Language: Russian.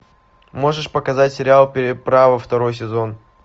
можешь показать сериал переправа второй сезон